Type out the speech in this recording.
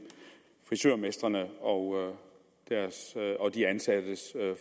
frisørmestrene og de ansattes